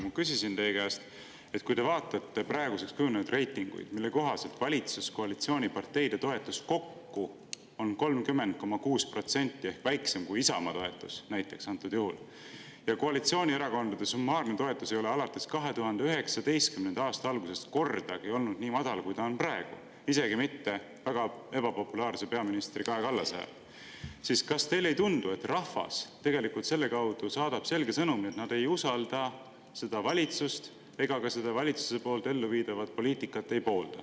Ma küsisin teie käest, et kui te vaatate praeguseks kujunenud reitinguid, mille kohaselt valitsuskoalitsiooni parteide toetus kokku on 30,6% ehk väiksem kui Isamaa toetus antud juhul, ja koalitsioonierakondade summaarne toetus ei ole alates 2019. aasta algusest kordagi olnud nii madal, kui see on praegu, isegi mitte väga ebapopulaarse peaministri Kaja Kallase ajal, siis kas teile ei tundu, et rahvas tegelikult selle kaudu saadab selge sõnumi, et nad ei usalda seda valitsust ega poolda valitsuse elluviidavat poliitikat.